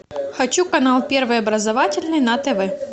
хочу канал первый образовательный на тв